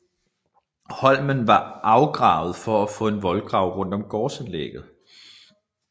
Holmen var afgravet for at få en voldgrav rundt om gårdanlægget